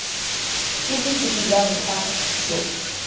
ke bosupi jwa ntlha jo